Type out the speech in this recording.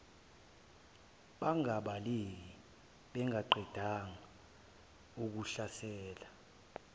bangabaleka bengakaqedi ukuhlasela